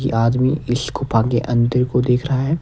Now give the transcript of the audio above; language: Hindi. कि आदमी इस गुफा के अंदर को देख रहा है।